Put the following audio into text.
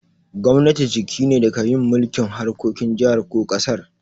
Gwamnati jiki ne da ka yin mulki'n harkokin jihar ko kasar.